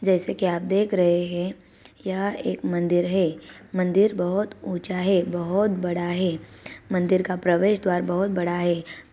जेसे की आप देख रहे है ये एक मंदिर है मंदिर बहोत ऊंचा है बहोत बड़ा है मंदिर का प्रवेश द्वार बहोत बड़ा है।